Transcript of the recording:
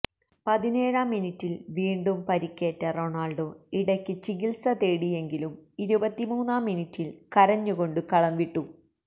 പതിനേഴാം മിനിട്ടില് വീണ്ടും പരുക്കേറ്റ റൊണാള്ഡോ ഇടയ്ക്ക് ചികില്സ തേടിയെങ്കിലും ഇരുപത്തിമൂന്നാം മിനിട്ടില് കരഞ്ഞുകൊണ്ടു കളംവിട്ടു